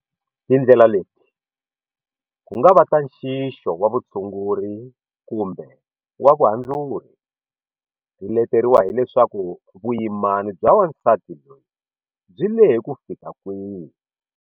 Tindlela leti, ku nga va ta nxixo wa vutshunguri kumbe wa vuhandzuri, ti leteriwa hi leswaku vuyimana bya wansati loyi byi lehe kufika kwihi.